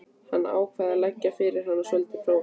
Hann ákvað að leggja fyrir hana svolítið próf.